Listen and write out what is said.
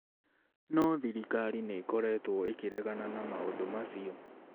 No thirikari nĩ ĩkoretwo ĩkĩregana na maũndũ macio.